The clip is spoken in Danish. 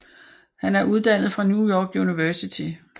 Han er uddannet fra New York University